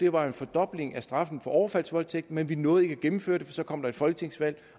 var en fordobling af straffen for overfaldsvoldtægt men vi nåede ikke at gennemføre det for så kom der et folketingsvalg